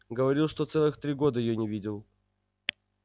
говорил что целых три года её не видел